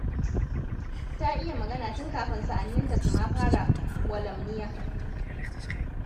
Ta iya magana tun kafin sa'anninta su ma fara gwalamniya.